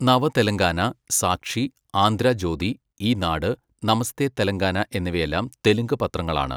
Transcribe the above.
നവ തെലങ്കാന, സാക്ഷി, ആന്ധ്ര ജ്യോതി, ഈനാട്, നമസ്തേ തെലങ്കാന എന്നിവയെല്ലാം തെലുങ്ക് പത്രങ്ങളാണ്.